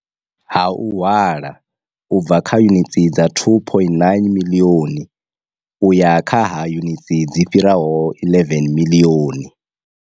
Ha u hwala u bva kha yunitsi dza 2.9 miḽioni u ya kha ha yunitsi dzi fhiraho 11 miḽioni.